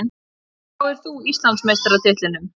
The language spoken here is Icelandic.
Hverjum spáir þú Íslandsmeistaratitlinum?